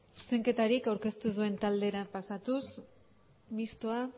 zuzenketarik aurkeztu ez duen taldera pasatuz mistoa